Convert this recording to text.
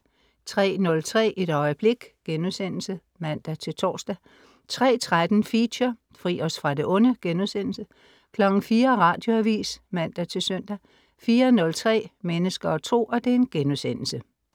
03.03 Et øjeblik* (man-tors) 03.13 Feature: Fri os fra det onde* 04.00 Radioavis (man-søn) 04.03 Mennesker og Tro*